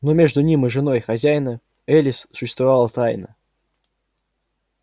но между ним и женой хозяина элис существовала тайна